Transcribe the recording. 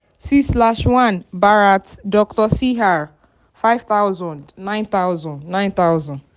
six slash one bharat doctor cr five thousand nine thousand nine thousand.